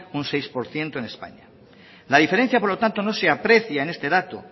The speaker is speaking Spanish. un seis por ciento en españa la diferencia por lo tanto no se aprecia en este dato